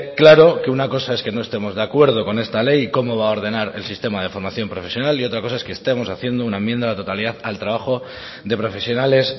claro que una cosa es que no estemos de acuerdo con esta ley y cómo va a ordenar el sistema de formación profesional y otra cosa es que estemos haciendo una enmienda a la totalidad al trabajo de profesionales